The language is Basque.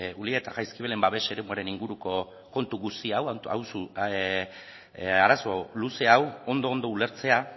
ulia eta jaizkibelen babes eremuaren inguruko kontu guzti hau arazo luze hau ondo ondo ulertzea